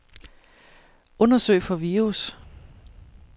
Undersøg for virus.